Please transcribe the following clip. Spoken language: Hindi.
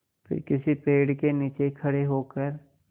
फिर किसी पेड़ के नीचे खड़े होकर